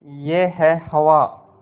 यह है हवा